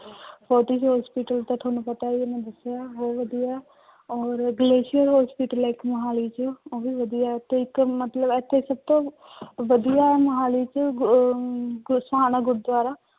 forty hospital ਤਾਂ ਤੁਹਾਨੂੰ ਪਤਾ ਹੀ ਹੈ ਮੈਂ ਦੱਸਿਆ ਬਹੁਤ ਵਧੀਆ, ਔਰ ਗਲੇਸ਼ੀਅਰ hospital ਹੈ ਇੱਕ ਮੁਹਾਲੀ ਚ, ਉਹ ਵੀ ਵਧੀਆ ਹੈ ਤੇ ਇੱਕ ਮਤਲਬ ਇੱਥੇ ਸਭ ਤੋਂ ਵਧੀਆ ਮੁਹਾਲੀ ਚ ਅਹ ਗੁਰਦੁਆਰਾ